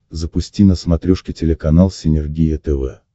запусти на смотрешке телеканал синергия тв